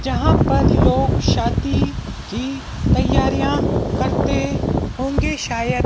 यहां पर लोग शादी की तैयारियां करते होंगे शायद।